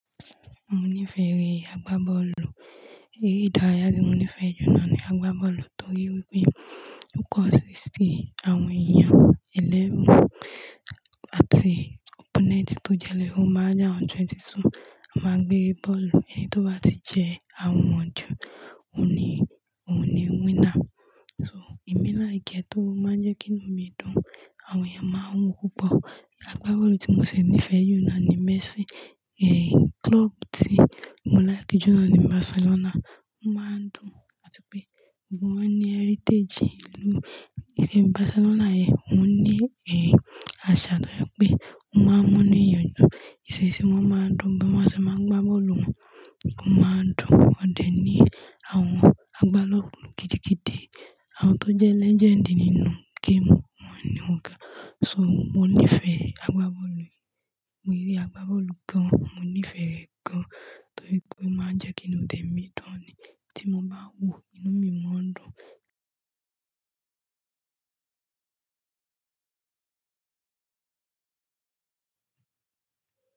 Mo nífẹ̀ẹ́ eré àgbá bọ́ọ̀lù. Eré ìdárayá tí mo nífẹ̀ẹ́ jùlọ ni àgbá bọ́ọ̀lù torí wípé kókó ọ síìtì àwọn èèyàn ẹlẹ́rù àti opponent tó jẹ́ ẹlẹ́rù má a jẹ́ àwọn twenty-two, a máa gbé bọ́ọ̀lù, ẹni tó bá ti jẹ àwọn wọ́n jù, òun ni, òun ni winner. So, ìmẹ́ làkẹ to máa ń jẹ́ kí inú mi dùn, àwọn èèyàn máa ń wò púpọ̀. Àgbá bọ́ọ̀lù tí mo ṣẹ̀ nífẹ̀ẹ́ jùlọ ni Messi. Eh, club tí mo ńlá kíjùlọ ni Barcelona. Wọ́n máa ń dùn àti pé gbogbo wọ́n ní heritage ìlú. Ẹ́ mi Barcelona yẹn, wọ́n ní, eh, àṣà tó yọ pé wọ́n máa ń múni ìyànjú. Èṣèṣe wọ́n máa ń dùn bí wọ́n ṣé máa ń gbá bọ́ọ̀lù wọn, wọ́n máa ń dùn. Wọ́n dẹ̀ ní àwọn àgbá bọ́ọ̀lù gidigidi, àwọn tó jẹ́ legend nínú game, wọ́n ni woǹ gà. So, mo nífẹ̀ẹ́ àgbá bọ́ọ̀lù, mo rí àgbá bọ́ọ̀lù gan-an, mo nífẹ̀ẹ́ ẹ gan-an torí pé ó máa ń jẹ́ kí inú tèmi dùn ni. Tí mo bá wò ó, inú mi máa ń dùn.